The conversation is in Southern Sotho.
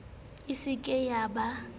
e se ke ya ba